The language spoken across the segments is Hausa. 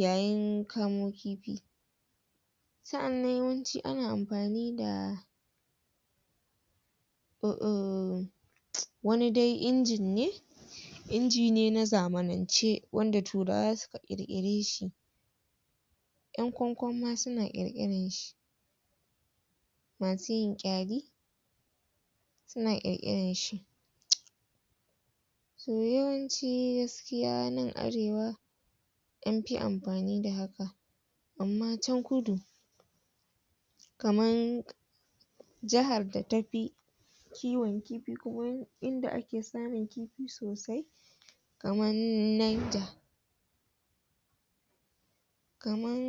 yayin kamo kifi sa'annan yawanci ana amfani da umm wani dai injin ne inji ne na zamanance wanda turawa suka ƙirƙire shi ƴan kwan-kwan ma suna ƙirƙiran shi masu yin suna ƙirƙiran shi to yawanci gaskiya nan arewa an fi amfani da haka amma can kudu kaman jahar da ta fi kiwon kifi kaman inda ake samun kifi sosai kaman Niger kaman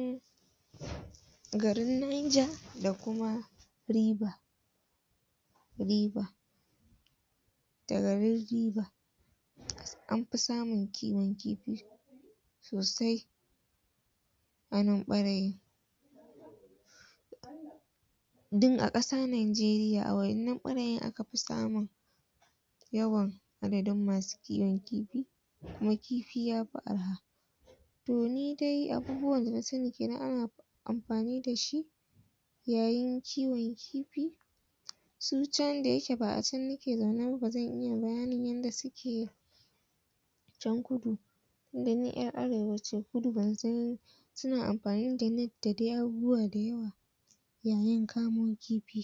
garin Niger da kuma River River da garin River an fi samun kiwon kifi sosai a nan ɓarayin dun a ƙasa Nanjeriya a wa'ennan ɓarayin aka fi samun yawan adadin masu kiwon kifi kuma kifi ya fi arha to ni dai abubuwan da na sani kenan ana amfani da shi yayin kiwon kifi su can da yake ba a can nike zaune ba ba zan iya bayanin yadda suke can kudu tunda ni ƴar arewa ce kudu ban san suna amfani da net da dai abubuwa da yawa yayin kamo kifi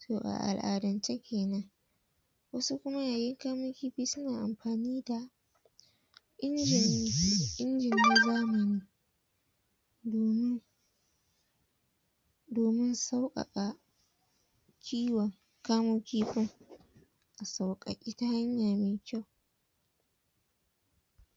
to a al'adance kenan wasu kuma yayin kamo kifi suna amfani da injin na zamani domin domin sauƙaƙa kiwon kamo kifin a sauƙaƙe ta hanya me kyau